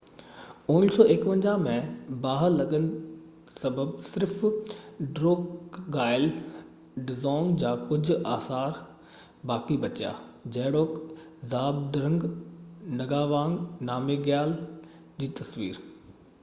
1951 ۾ باهه لڳن سبب صرف ڊروڪگائل ڊزونگ جا ڪجهه آثر باقي بچيا جهڙوڪ زهابڊرنگ ناگاوانگ نامگيال جي تصوير